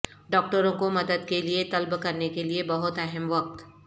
ڈاکٹروں کو مدد کے لئے طلب کرنے کے لئے بہت اہم وقت